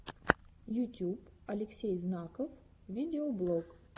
ютюб алексей знаков видеоблог